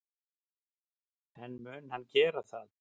En mun hann gera það?